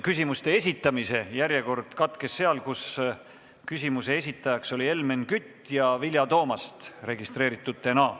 Küsimuste esitamine katkes, kui küsimuse esitaja oli Helmen Kütt ja Vilja Toomast oli järgmisena registreeritud.